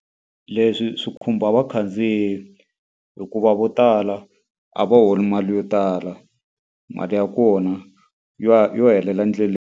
Leswi swi khumba vakhandziyi hikuva vo tala a va holi mali yo tala, mali ya kona yo yo helela endleleni.